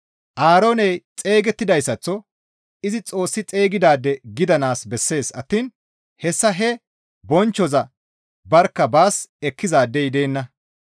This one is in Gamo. Aarooney xeygettidayssaththo izi Xoossi xeygidaade gidanaas bessees attiin hessa he bonchchoza barkka baas ekkizaadey deenna.